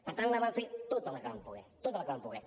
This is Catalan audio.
per tant vam fer tota la que vam poder tota la que vam poder